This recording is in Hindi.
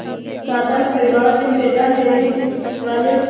साधारण परिवार में पैदा लेने वाले